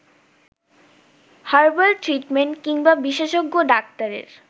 herbal treatment কিংবা বিশেষজ্ঞ ডাক্তারের